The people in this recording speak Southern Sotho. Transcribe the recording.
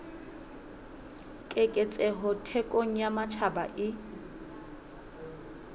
keketseho thekong ya matjhaba e